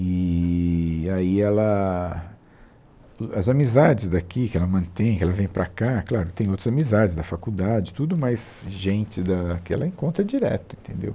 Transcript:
Eee aí ela as amizades daqui que ela mantém, que ela vem para cá, claro, tem outras amizades da faculdade, tudo, mas gente da que ela encontra direto, entendeu?